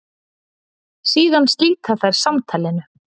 Síðan slíta þær samtalinu.